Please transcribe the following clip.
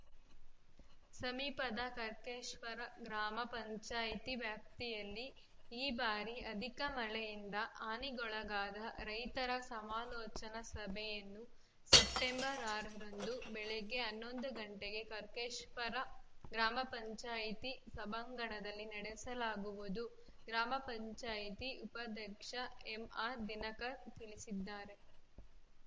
ಸಮೀಪದ ಕರ್ಕೇಶ್ವರ ಗ್ರಾಮ ಪಂಚಾಯಿತಿ ವ್ಯಾಪ್ತಿಯಲ್ಲಿ ಈ ಬಾರಿ ಅಧಿಕ ಮಳೆಯಿಂದ ಹಾನಿಗೊಳಗಾದ ರೈತರ ಸಮಾಲೋಚನಾ ಸಭೆಯನ್ನು ಸೆಪ್ಟೆಂಬರ್ ಆರ ರಂದು ಬೆಳಗ್ಗೆ ಹನ್ನೊಂದು ಗಂಟಗೆ ಕರ್ಕೇಶ್ವರ ಗ್ರಾಮ ಪಂಚಾಯತಿ ಸಭಾಂಗಣದಲ್ಲಿ ನಡೆಸಲಾಗುವುದು ಗ್ರಾಮ ಪಂಚಾಯತಿ ಉಪಾಧ್ಯಕ್ಷ ಎಂಆರ್‌ದಿನಕರ್‌ ತಿಳಿಸಿದ್ದಾರೆ